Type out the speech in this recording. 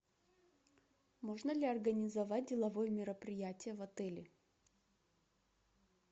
можно ли организовать деловое мероприятие в отеле